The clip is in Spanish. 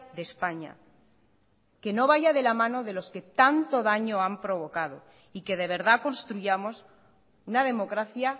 de españa que no vaya de la mano de los que tanto daño han provocado y que de verdad construyamos una democracia